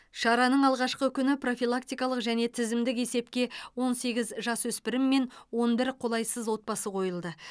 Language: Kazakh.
шараның алғашқы күні профилактикалық және тізімдік есепке он сегіз жасөспірім мен он бір қолайсыз отбасы қойылды